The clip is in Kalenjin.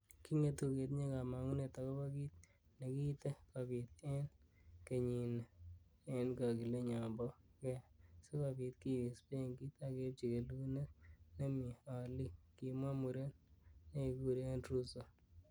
"Kingetu ketinye komong'unet agobo kit nekiite kobiit en kenyini en kogilenyon bo go sikobiit kiwis benkit ak keibchi kelunot nemie oliik,"Kimwa muren nekekuren Russo.